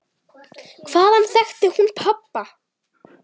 Hvaðan þekkti hún pabba?